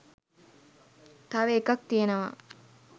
තව එකක් තියෙනවා